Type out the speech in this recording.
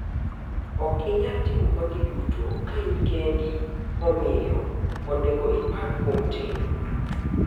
"Ok inyal timo magi duto ka in kendi, omiyo onego ipar kuom tim.